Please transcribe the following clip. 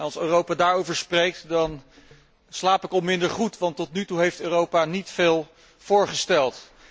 En als Europa daarover spreekt dan slaap ik wat minder goed, want tot nu toe heeft Europa niet veel voorgesteld.